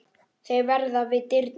Þeir verða við dyrnar.